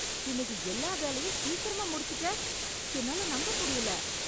இன்னைக்கு எல்லா வேலையும் சிக்கிரமா முடுச்சுட்ட என்னால நம்ப முடியல